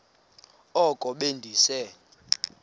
oko be ndise